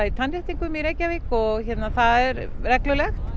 tannréttingum í Reykjavík og það er reglulegt